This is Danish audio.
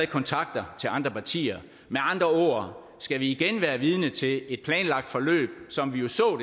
kontakter til andre partier med andre ord skal vi igen være vidne til et planlagt forløb som vi jo så